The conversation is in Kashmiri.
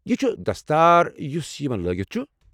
یہِ چُھ دستار یُس یمن لٲگتھ چھُ ۔